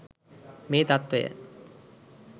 මේ තත්ත්වය